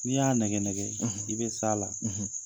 N'i y'a nɛgɛ-nɛgɛ, i be s'a la.